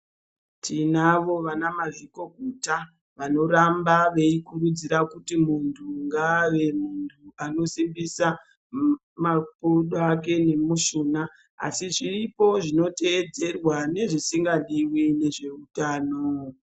Tinavo vana mazvikokota vanoramba veikurudzira kuti muntu ngave muntu anozipisisa makodo Ake nemushuna asi zviripo zvinotedzerwa nezvisingadiwi ngezveutano.